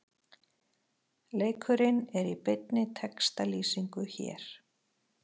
Leikurinn er í beinni textalýsingu hér